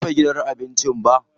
Basu rufe gidan abincin ba.